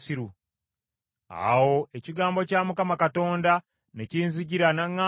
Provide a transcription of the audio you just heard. Awo ekigambo kya Mukama Katonda ne kinzijira n’aŋŋamba nti,